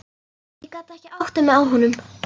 Ég gat ekki áttað mig á honum.